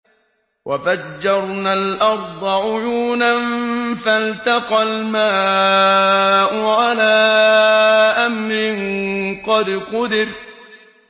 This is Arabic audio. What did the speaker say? وَفَجَّرْنَا الْأَرْضَ عُيُونًا فَالْتَقَى الْمَاءُ عَلَىٰ أَمْرٍ قَدْ قُدِرَ